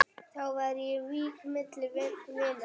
Þá var vík milli vina.